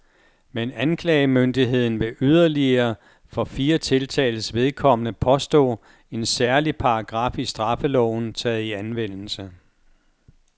Men anklagemyndigheden vil yderligere for fire tiltaltes vedkommende påstå en særlig paragraf i straffeloven taget i anvendelse.